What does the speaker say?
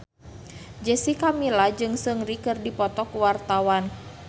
Jessica Milla jeung Seungri keur dipoto ku wartawan